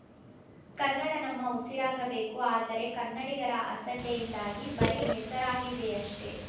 ಕನ್ನಡ ನಮ್ಮ ಉಸಿರಾಗಬೇಕು ಆದರೆ ಕನ್ನಡಿಗರ ಅಸಡ್ಡೆಯಿಂದಾಗಿ ಬರೀ ಹೆಸರಾಗಿದೆಯಷ್ಟೇ